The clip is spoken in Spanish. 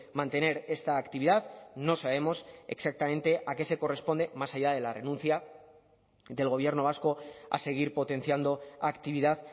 mantener esta actividad no sabemos exactamente a qué se corresponde más allá de la renuncia del gobierno vasco a seguir potenciando actividad